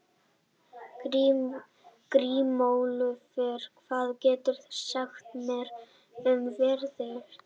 Grímólfur, hvað geturðu sagt mér um veðrið?